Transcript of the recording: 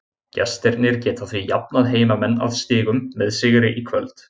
Gestirnir geta því jafnað heimamenn að stigum með sigri í kvöld.